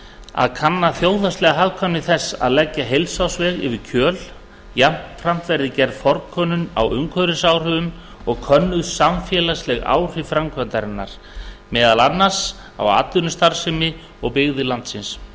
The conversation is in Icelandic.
að kanna þjóðhagslega hagkvæmni þess að leggja heilsársveg yfir kjöl jafnframt verði gerð forkönnun á umhverfisáhrifum og könnuð samfélagsleg áhrif framkvæmdarinnar meðal annars á atvinnustarfsemi og byggðir landsins